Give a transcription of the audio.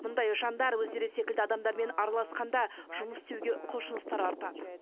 мұндай жандар өздері секілді адамдармен араласқанда жұмыс істеуге құлшыныстары артады